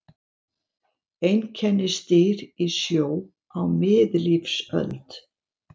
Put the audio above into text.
Einkennisdýr í sjó á miðlífsöld.